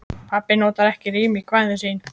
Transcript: Pabbi notar ekki rím í kvæðin sín.